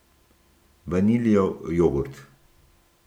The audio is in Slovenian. Vaniljev jogurt.